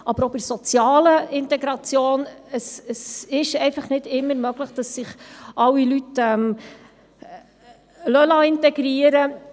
Aber auch die soziale Integration ist nicht immer möglich, denn es lassen sich nicht alle Menschen integrieren.